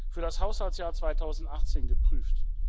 für das Haushaltsjahr 2018 geprüft.